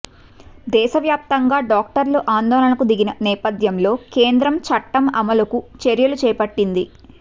దేశవ్యాప్తంగా డాక్టర్లు ఆందోళనకు దిగిన నేపథ్యంలో కేంద్రం చట్టం అమలుకు చర్యలు చేపట్టింది